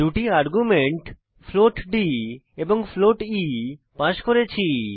দুটি argument float d এবং float e pass করেছি